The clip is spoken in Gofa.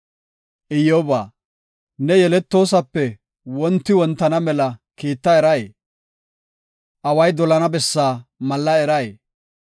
Iyyoba, ne yeletoosope wonti wontana mela kiita eray, away dolana bessaa malla eray?